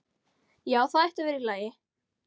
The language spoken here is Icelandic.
Já, það ætti að vera í lagi.